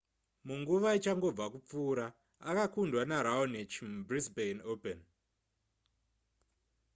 munguva ichangobva kupfuura akakundwa neraonic mubrisbane open